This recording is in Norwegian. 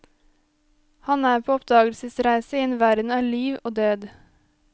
Han er på oppdagelsesreise i en verden av liv og død.